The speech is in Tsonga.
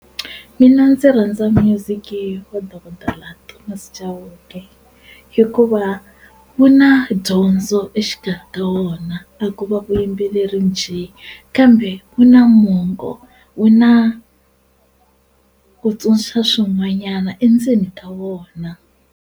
Mina ndzi rhandza minyuziki wa dokodela Thomas Chauke hikuva wu na dyondzo exikarhi ka wona a ko va vuyimbeleri njhe kambe wu na mongo wu na ku tsundzuxa swin'wanyana endzeni ka wona.